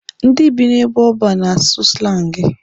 Ndị bi n'ebe ọban na-asụ slangi.